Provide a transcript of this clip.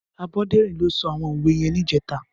Aboderin ló sò áwòn ówé yèn nijètâ